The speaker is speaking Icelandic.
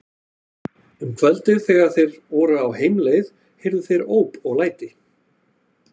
Um kvöldið þegar þeir voru á heimleið heyrðu þeir óp og læti.